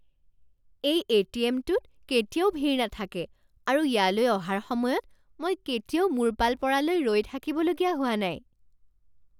এই এ.টি.এম.টোত কেতিয়াও ভিৰ নাথাকে আৰু ইয়ালৈ অহাৰ সময়ত মই কেতিয়াও মোৰ পাল পৰালৈ ৰৈ থাকিবলগীয়া হোৱা নাই।